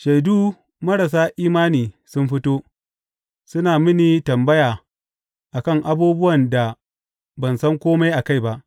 Shaidu marasa imani sun fito; suna mini tambaya a kan abubuwan da ban san kome a kai ba.